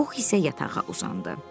Binnipux isə yatağa uzandı.